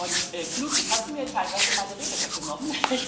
Und Knut, jetzt hast du mir teilweise meine Rede weggenommen